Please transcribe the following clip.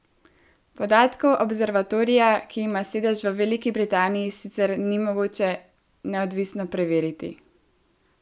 Podatkov observatorija, ki ima sedež v Veliki Britaniji, sicer ni mogoče neodvisno preveriti.